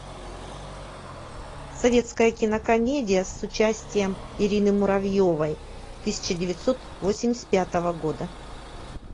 советская кинокомедия с участием ирины муравьевой тысяча девятьсот восемьдесят пятого года